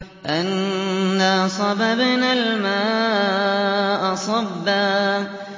أَنَّا صَبَبْنَا الْمَاءَ صَبًّا